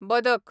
बदक